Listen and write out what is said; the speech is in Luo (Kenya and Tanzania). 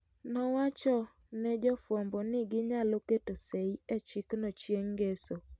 Nowacho ne jofwambo ni ginyalo keto sei e chikno chieng' ngeso.